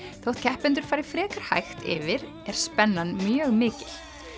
þótt keppendur fari frekar hægt yfir er spennan mjög mikil